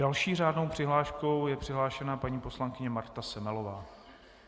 Další řádnou přihláškou je přihlášena paní poslankyně Marta Semelová.